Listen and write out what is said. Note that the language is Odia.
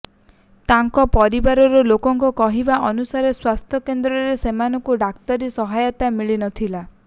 ତାଙ୍କ ପରିବାର ଲୋକଙ୍କ କହିବା ଅନୁସାରେ ସ୍ୱାସ୍ଥ୍ୟ କେନ୍ଦ୍ରରେ ସେମାନଙ୍କୁ ଡାକ୍ତରୀ ସହାୟତା ମିଳି ନ ଥିଲା